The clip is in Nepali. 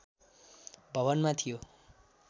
भवनमा थियो